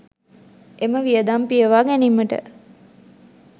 එම වියදම් පියවා ගැනීමට